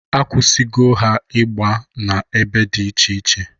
Akwụsịgo ha igba na-ebe dị iche iche.